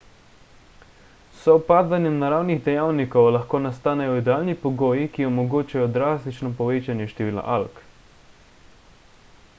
s sovpadanjem naravnih dejavnikov lahko nastanejo idealni pogoji ki omogočajo drastično povečanje števila alg